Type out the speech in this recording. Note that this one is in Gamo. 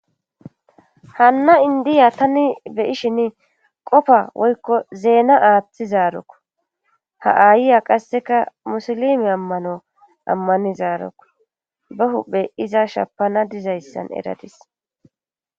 hanna indiya tani beyishin qofa woykko zeena aaththi zaarokko ha ayiya qasseka musolimi ammano ammanizaarokku ba hubhe iza shapana dizayssan eradis